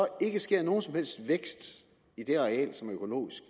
ikke sker nogen som helst vækst i det areal som er økologisk